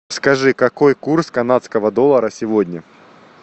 скажи какой курс канадского доллара сегодня